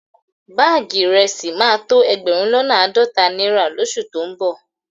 Báàgì ìrẹsì máa tó ẹgbẹ̀rún lọ́nà àádọ́ta náírà lóṣù tó ń bọ̀